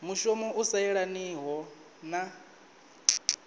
mushumo u sa yelaniho na